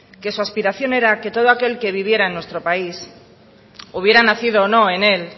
que su aspiración era que todo aquel que viviera en nuestro país hubiera nacido o no en él